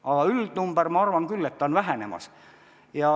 Aga üldnumber, ma arvan küll, on vähenemas.